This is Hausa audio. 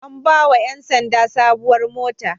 An ba wa ofishin ƴan sanda sabuwar mota.